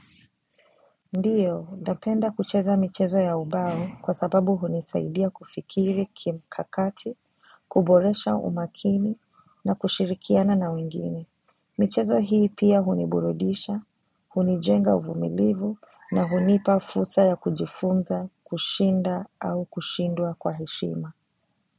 Ndiyo, napenda kucheza michezo ya ubao kwa sababu hunisaidia kufikiri kimkakati, kuboresha umakini na kushirikiana na wengine. Michezo hii pia huniburudisha, hunijenga uvumilivu na hunipa fursa ya kujifunza, kushinda au kushindua kwa heshima.